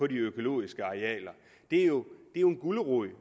de økologiske arealer er jo en gulerod